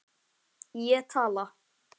Ég tala.